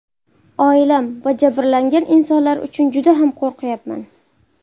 Oilam va jabrlangan insonlar uchun juda ham qo‘rqayapman.